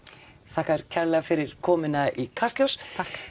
þakka þér kærlega fyrir komuna í Kastljós